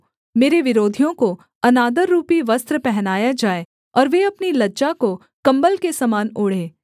मेरे विरोधियों को अनादररूपी वस्त्र पहनाया जाए और वे अपनी लज्जा को कम्बल के समान ओढ़ें